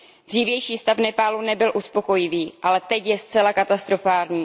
Dřívější stav Nepálu nebyl uspokojivý, ale teď je zcela katastrofální.